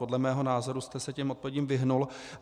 Podle mého názoru jste se těm odpovědím vyhnul.